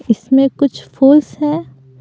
इसमें कुछ फोल्स है।